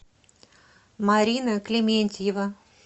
марина клементьева